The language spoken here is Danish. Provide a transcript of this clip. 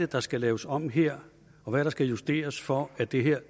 der skal laves om her og hvad der skal justeres for at det her